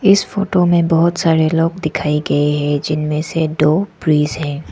इस फोटो में बहुत सारे लोग दिखाए गए हैं जिनमें से दो प्रीस्ट हैं।